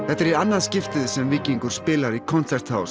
þetta er í annað skiptið sem Víkingur spilar í Konzerthaus